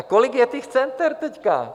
A kolik je těch center teď?